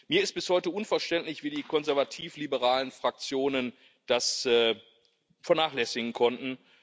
Mir ist bis heute unverständlich, wie die konservativ liberalen Fraktionen das vernachlässigen konnten.